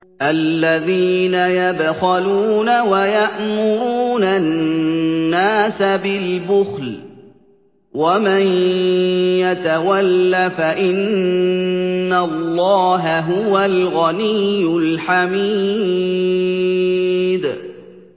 الَّذِينَ يَبْخَلُونَ وَيَأْمُرُونَ النَّاسَ بِالْبُخْلِ ۗ وَمَن يَتَوَلَّ فَإِنَّ اللَّهَ هُوَ الْغَنِيُّ الْحَمِيدُ